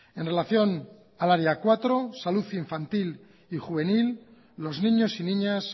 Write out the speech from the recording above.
en relación al área cuatro salud infantil y juvenil los niños y niñas